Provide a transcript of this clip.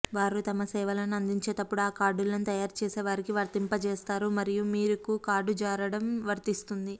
వారు తమ సేవలను అందించేటప్పుడు ఆ కార్డులను తయారుచేసేవారికి వర్తింపజేస్తారు మరియు మీకు కార్డును జారడం వర్తిస్తుంది